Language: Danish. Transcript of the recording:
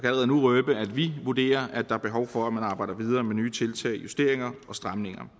allerede nu røbe at vi vurderer at der er behov for at man arbejder videre med nye tiltag justeringer og stramninger